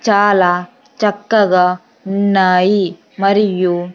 చాలా చక్కగా ఉన్నాయి మరియు--